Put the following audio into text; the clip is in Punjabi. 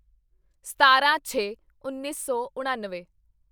ਸਤਾਰਾਂ ਛੇ ਉੱਨੀ ਸੌ ਉਣਾਨਵੇਂ